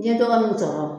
N'i ye dɔgɔninw sɔrɔ